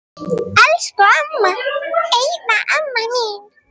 Elsku amma, eina amma mín.